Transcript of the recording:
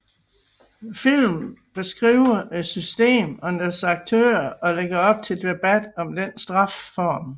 Filmen beskriver et system og dets aktører og lægger op til debat om denne straffeform